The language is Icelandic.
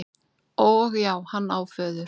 Og já, hann á föður.